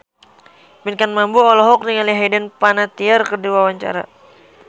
Pinkan Mambo olohok ningali Hayden Panettiere keur diwawancara